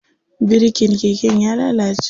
Birikin keken ya lalace.